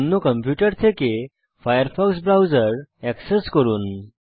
অন্য কম্পিউটার থেকে Firefox browser access করুন